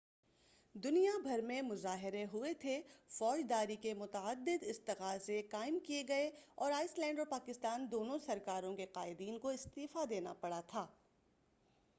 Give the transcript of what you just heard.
دنیا بھر میں مظاہرے ہوئے تھے فوجداری کے متعدد استغاثے قائم کئے گئے اور آئس لینڈ اور پاکستان دونوں سرکاروں کے قائدین کو استعفی دینا پڑا تھا